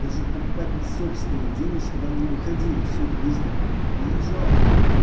даже покупать на собственные деньги чтоб они не выходили сука из дому мне не жалко